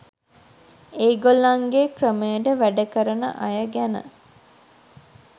ඒගොල්ලන්ගේ ක්‍රමයට වැඩ කරන අය ගැන